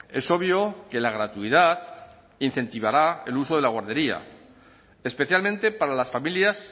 es obvio que la gratuidad incentivará el uso de la guardería especialmente para las familias